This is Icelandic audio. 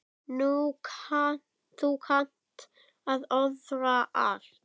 Þú kannt að orða allt.